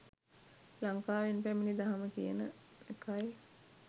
ලකාවෙන් පැමිණි දහම කියන එකයි.